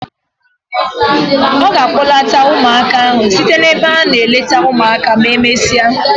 Ọ ga a kpọlata ụmụaka ahụ site n'ebe a na-eleta ụmụaka ma emesịa.